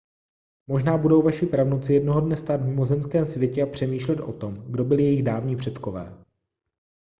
možná budou vaši pravnuci jednoho dne stát v mimozemském světě a přemýšlet o tom kdo byli jejich dávní předkové